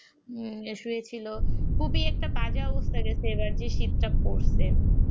এসেছিল খুবই একটা বাজে অবস্থা হয়েছিল যে শীত পড়েছিল